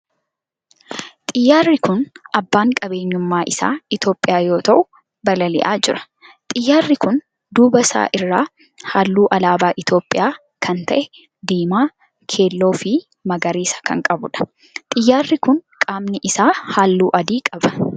Xiyyaarri kun abbaan qabeenyummaa isaa Itiyoophiyaa yoo ta'u balali'aa jira. xiyyaarri kun duuba isaa irraa halluu alaabaa Itiyoophiyaa kan ta'e diimaa, keelloo fi magariisa kan qabudha. xiyyaarri kun qaamni isaa halluu adii qaba.